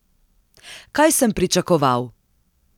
Kaj sem pričakoval?